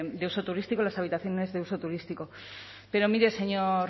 de uso turístico y las habitaciones de uso turístico pero mire señor